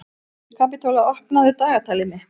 Kapitola, opnaðu dagatalið mitt.